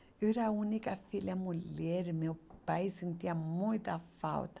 Eu era a única filha mulher, meu pai sentia muita falta.